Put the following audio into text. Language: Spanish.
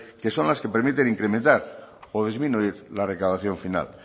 que son las que permiten incrementar o disminuir la recaudación final